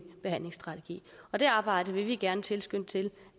behandlingsstrategi og det arbejde vil vi gerne tilskynde til